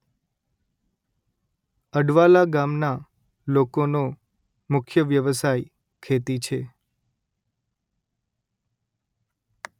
અડવાલા ગામના લોકોનો મુખ્ય વ્યવસાય ખેતી છે